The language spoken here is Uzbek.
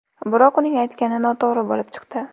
Biroq uning aytgani noto‘g‘ri bo‘lib chiqdi.